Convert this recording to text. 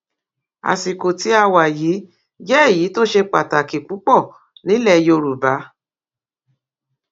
àsìkò tí a wà yìí jẹ èyí tó ṣe pàtàkì púpọ nílẹ yorùbá